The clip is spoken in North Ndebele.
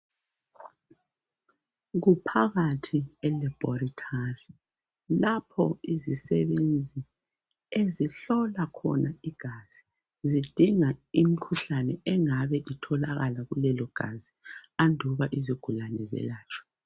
Okuphakathi elaboratory lapho izigulane izisebenzi ezihlola khona igazi zidinga imkhuhlane engabe itholakala kulelo gazi anduba izigulane zelatshwe